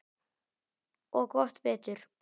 Og gott betur.